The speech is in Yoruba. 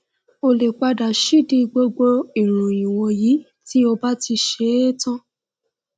o lè pa dà sídìí gbogbo ìròyìn wọnyí tí o bá ti ṣe é tán